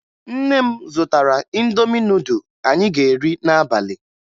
Nne m zụtara Indomi nudụ anyị ga-eri n'abalị